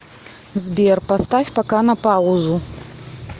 сбер поставь пока на паузу